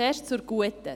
Zuerst zur guten.